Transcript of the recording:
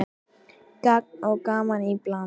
Gagn og gaman í bland.